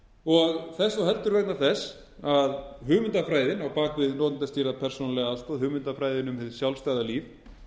og þess þó heldur vegna þess að hugmyndafræðin á bak við notendastýrða persónulega aðstoð hugmyndafræðin um hið sjálfstæða líf